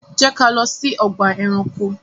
Jẹ́ ká lọ sí ọgbà ẹranko!